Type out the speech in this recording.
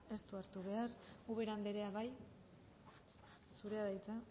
ez du hartu behar ubera andrea bai zurea da hitza